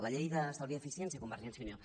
la llei d’estalvi i eficiència convergència i unió